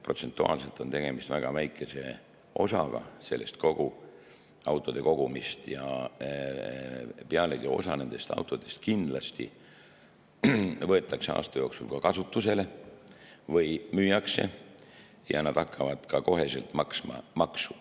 Protsentuaalselt on tegemist väga väikese osaga kogu autode kogumist ja pealegi osa nendest autodest kindlasti võetakse aasta jooksul ka kasutusele või müüakse ja neilt hakatakse kohe maksma maksu.